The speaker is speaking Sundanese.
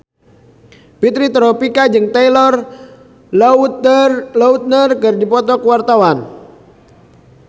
Fitri Tropika jeung Taylor Lautner keur dipoto ku wartawan